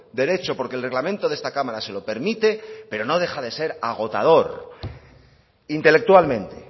derecho porque el reglamento de esta cámara se lo permite pero no deja de ser agotador intelectualmente